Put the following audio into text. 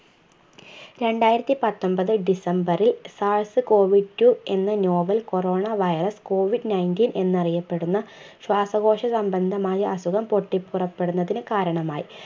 രണ്ടായിരത്തിപത്തൊമ്പത് december ൽ SARS Covid two എന്ന novel corona virus Covid nineteen എന്ന് അറിയപ്പെടുന്ന ശ്വാസകോശസംബന്ധമായ അസുഖം പൊട്ടിപൊറപ്പെടുന്നതിന് കാരണമായി